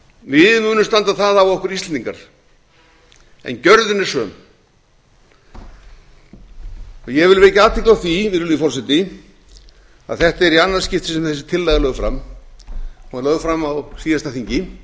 við munum standa það af okkur íslendingar en gjörðin ef söm ég vil vekja athygli á því virðulegi forseti að þetta er í annað skipti sem þessi tillaga er lögð fram hún var lögð fram á síðasta þingi